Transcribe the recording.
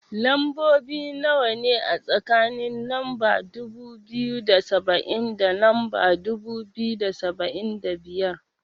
Lambobi nawa ne, a tsakanin lamba dubu biyu da saba'in da lamba dubu biyu da saba'in da biyar?